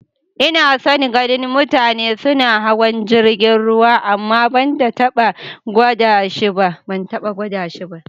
N'na son ganin mutane suna hawan jirigin ruwa amma ban taba gwada shi ba.